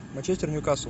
манчестер ньюкасл